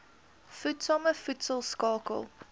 voedsame voedsel skakel